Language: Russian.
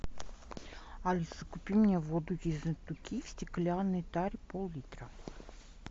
алиса купи мне воду ессентуки в стеклянной таре пол литра